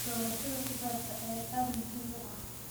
Doorashada khudaarta ayaa aad muhiim u ah.